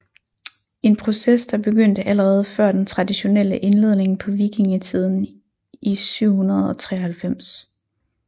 En proces der begyndte allerede før den traditionelle indledning på vikingetiden i 793